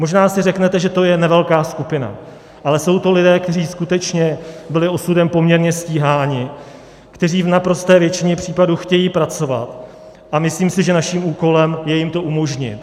Možná si řeknete, že to je nevelká skupina, ale jsou to lidé, kteří skutečně byli osudem poměrně stíháni, kteří v naprosté většině případů chtějí pracovat, a myslím si, že naším úkolem je jim to umožnit.